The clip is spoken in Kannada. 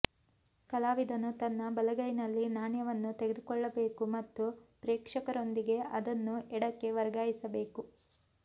ಕಲಾವಿದನು ತನ್ನ ಬಲಗೈಯಲ್ಲಿ ನಾಣ್ಯವನ್ನು ತೆಗೆದುಕೊಳ್ಳಬೇಕು ಮತ್ತು ಪ್ರೇಕ್ಷಕರೊಂದಿಗೆ ಅದನ್ನು ಎಡಕ್ಕೆ ವರ್ಗಾಯಿಸಬೇಕು